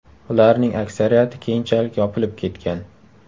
Ularning aksariyati keyinchalik yopilib ketgan.